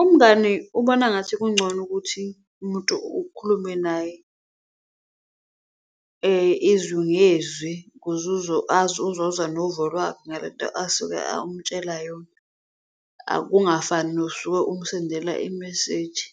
Umngani ubona ngathi kungcono ukuthi umuntu ukhulume naye izwi ngezwi ukuze uzozwa novo lwakhe ngalento asuke umtshela yona. Akungafani nosuke umsendela imeseji